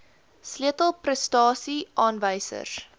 sleutel prestasie aanwysers